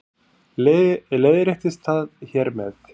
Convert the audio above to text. Leiðréttist það hér með